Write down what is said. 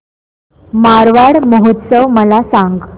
मारवाड महोत्सव मला सांग